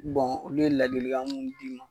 Bon olu ye ladili kan munnu d'i ma.